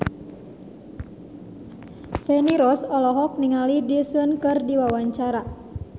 Feni Rose olohok ningali Daesung keur diwawancara